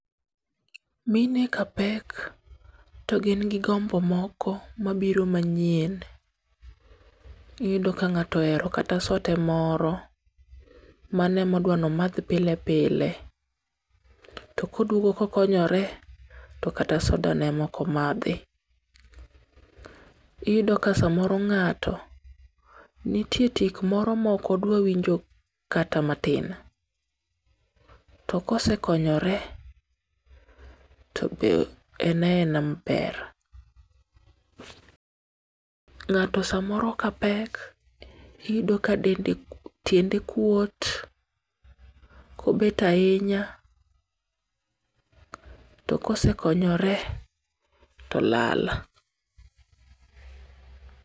MIne ka pek, to gin gi gombo moko mabiro manyien. Iyudo ka ng'ato ohero kata sote moro. Mano ema odwa ni omadh pile pile. To koduogo kokonyore, to kata soda no e ma ok omadhi. Iyudo ka samoro ng'ato, nitie tik moro mokodwa winjo kata matin. To kosekonyore, to be en aena maber. Ng;ato samoro ka pek, iyudo ka dende, tiende kuot kobet ahinya, to kosekonyore, to lal.